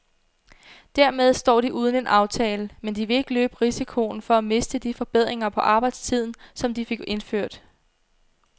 Dermed står de uden en aftale, men de vil ikke løbe risikoen for at miste de forbedringer på arbejdstiden, som de fik indført.